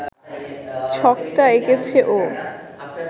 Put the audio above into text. ছকটা এঁকেছে ও